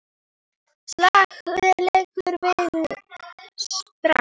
Slakur leikur sem vinnur strax!